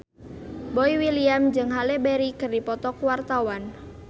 Boy William jeung Halle Berry keur dipoto ku wartawan